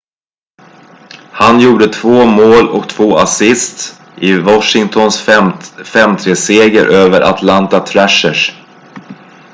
han gjorde 2 mål och 2 assists i washingtons 5-3-seger över atlanta thrashers